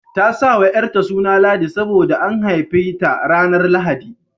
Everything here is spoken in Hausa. Ta sa wa ƴarta suna Ladi sabo da an haife ta ranar Lahadi.